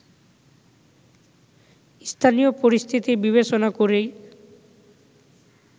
স্থানীয় পরিস্থিতি বিবেচনা করেই